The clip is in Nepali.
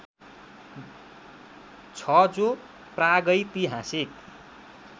छ जो प्रागैतिहासिक